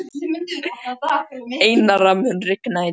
Einara, mun rigna í dag?